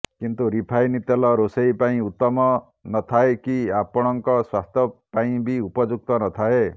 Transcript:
କିନ୍ତୁ ରିଫାଇନ୍ ତେଲ ରୋଷେଇ ପାଇଁ ଉତ୍ତମ ନଥାଏ କି ଆପଣଙ୍କ ସ୍ବାସ୍ଥ୍ୟ ପାଇଁ ବି ଉପଯୁକ୍ତ ନଥାଏ